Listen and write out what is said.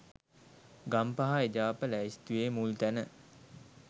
ගම්පහ එජාප ලැයිස්තුවේ මුල් තැන